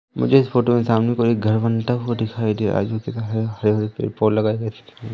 मुझे इस फोटो के सामने कोई घर बनता को दिखाई दे रहा है। आजू बाजू हरे भरे पेड़ पौधे लगाए गए--